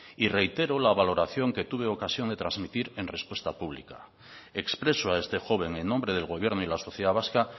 y reitero la valoración que tuve ocasión de transmitir en respuesta pública expreso a este joven en nombre del gobierno y la sociedad vasca